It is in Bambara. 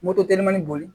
Moto telemɔni bolo